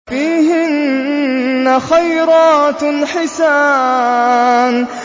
فِيهِنَّ خَيْرَاتٌ حِسَانٌ